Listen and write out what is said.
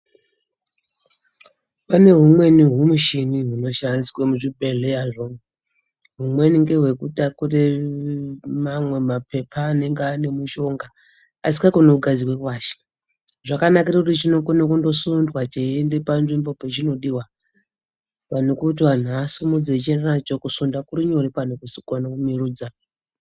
Pane humweni humichini hunoshandiswe muzvibhehleyazvo humweni ngehwekutakure mamwe mapepa anenge ane mishonga zvisingakoni kugadzikwe pashi. Zvakanakire kuti chinokone kungosundwa cheiende panzvimbo pachinodiwa pane kuti anhu asumudze echiende nacho. Kusunda kurinyore pane kumwirudza.